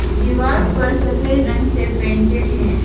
दीवार पर सफेद रंग से पेंटेड हैं।